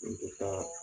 N tɛ taa